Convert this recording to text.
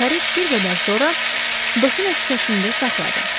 Karet bir qədər sonra Dofina küçəsində saxladı.